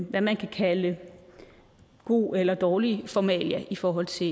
hvad man kan kalde god eller dårlig formalia i forhold til